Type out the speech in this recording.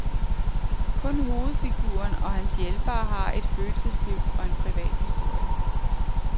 Kun hovedfiguren og hans hjælpere har et følelsesliv og en privat historie.